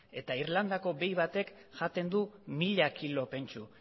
eta irlandako behi batek jaten du mila kilo pentsu